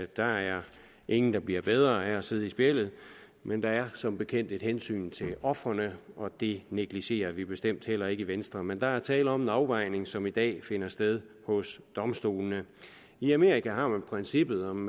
der er ingen der bliver bedre af at sidde i spjældet men der er som bekendt et hensyn til ofrene og det negligerer vi bestemt heller ikke i venstre men der er tale om en afvejning som i dag finder sted hos domstolene i amerika har man princippet om